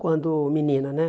Quando menina, né?